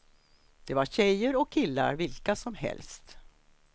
Det var tjejer och killar vilka som helst.